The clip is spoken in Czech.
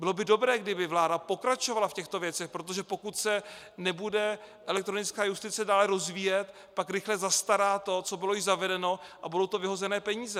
Bylo by dobré, kdyby vláda pokračovala v těchto věcech, protože pokud se nebude elektronická justice dále rozvíjet, pak rychle zastará to, co bylo již zavedeno, a budou to vyhozené peníze.